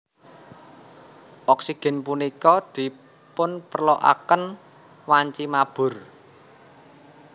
Oksigen punika dipunperloaken wanci mabur